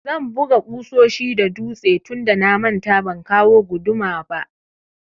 Zan buga ƙusoshi da dutse tunda na manta ban kawo guduma ba.